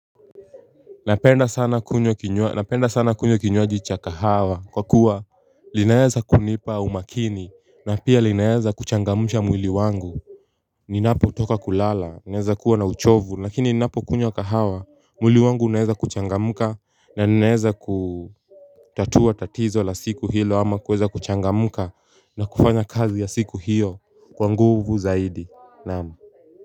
Napenda sana kunywa kinywaji cha kahawa kwa kuwa linaeza kunipa umakini na pia linaeza kuchangamsha mwili wangu. Ninapotoka kulala ninaeza kuwa na uchovu lakini ninapokunywa kahawa mwili wangu unaeza kuchangamka na ninaeza kutatua tatizo la siku hilo ama kueza kuchangamka na kufanya kazi ya siku hiyo kwa nguvu zaidi naam.